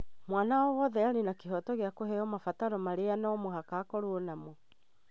Mwana o wothe arĩ na kĩhooto gĩa kũheo mabataro marĩa no mũhaka akorwo namo